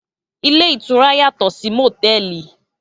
Ilé ìtura yàtò sì mòtẹ́ẹ̀lì.